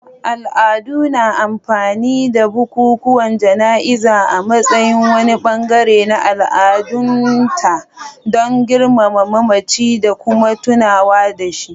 Al'ada na amfani da bukukuwan jana'iza a matsayin wani bangare na al'adunta don girmama mamaci da kuma tunawa da shi.